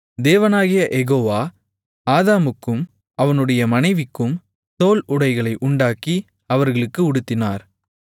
தேவனாகிய யெகோவா ஆதாமுக்கும் அவனுடைய மனைவிக்கும் தோல் உடைகளை உண்டாக்கி அவர்களுக்கு உடுத்தினார்